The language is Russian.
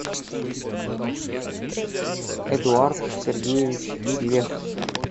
эдуард сергеевич вех